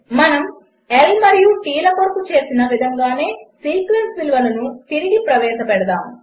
మనము L మరియు T ల కొరకు చేసిన విధముగానే సీక్వెన్స్ విలువలను తిరిగి ప్రవేశపెడదాము